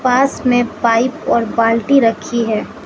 पास में पाइप और बाल्टी रखी है।